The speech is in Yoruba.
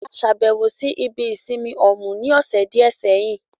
A lọ ṣàbẹ̀wọ̀ ibi ìsinmi Òmù ní ọ̀sẹ̀ díẹ̀ sẹ́yìn